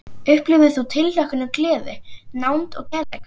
Upplifðir þú tilhlökkun og gleði, nánd og kærleika?